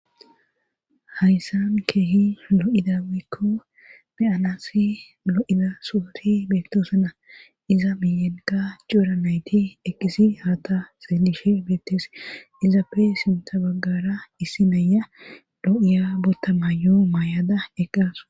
hayssan keehi lo7ida woyko be7anassi lo7ida sooti betoosana iza miyenka cuuranayti eqqisi haata seelishe beettes izapfe sinta baggara issi naya do7iya botta mayo maay7ada eqqasu